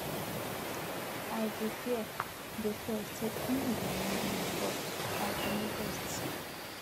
i dey fear dey fear say im go wound me but i domy best